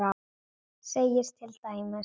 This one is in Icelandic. segir til dæmis